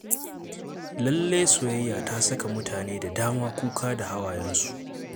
Lalle soyayya ta saka mutane da dama kuka da hawayensu.